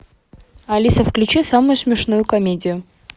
алиса включи самую смешную комедию